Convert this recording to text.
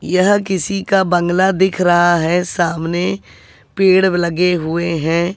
यह किसी का बंगला दिख रहा है सामने पेड़ लगे हुएं हैं।